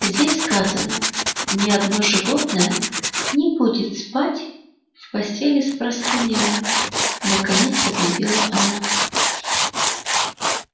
здесь сказано ни одно животное не будет спать в постели с простынями наконец объявила она